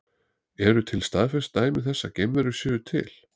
Eru til staðfest dæmi þess að geimverur séu til?